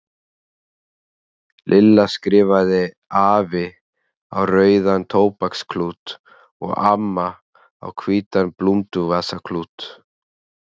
Lilla skrifaði AFI á rauðan tóbaksklút og AMMA á hvítan blúnduvasaklút.